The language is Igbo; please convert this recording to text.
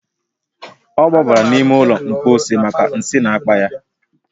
O gbabara n'ime ụlọ mposi maka nsi n’akpa ya